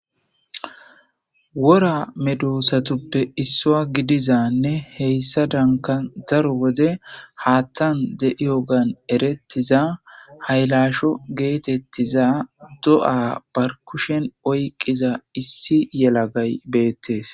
wora medoosatuppe issua gidizanne heyssa danka daro wode haattan de7iyogan erettiza haylasho geetettiza do7a bar kushen oyqqiza issi yelagay beettes